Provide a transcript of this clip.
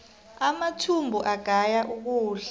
amathumbu agaya ukudla